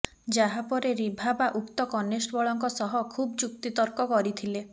ଯାହା ପରେ ରିଭାବା ଉକ୍ତ କନଷ୍ଟେବଳଙ୍କ ସହ ଖୁବ୍ ଯୁକ୍ତିତର୍କ କରିଥିଲେ